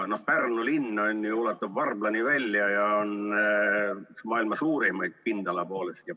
Pärnu linn ulatub Varblani välja ja on üks maailma suurimaid pindala poolest.